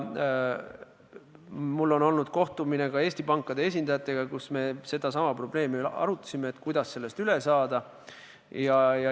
Mul on olnud kohtumine ka Eesti pankade esindajatega, mille käigus me arutasime sedasama probleemi ja seda, kuidas sellest üle saada.